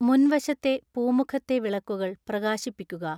മുൻവശത്തെ പൂമുഖത്തെ വിളക്കുകൾ പ്രകാശിപ്പിക്കുക